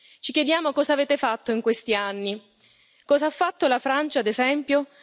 Ci chiediamo cosa avete fatto in questi anni, cosa ha fatto la Francia, ad esempio?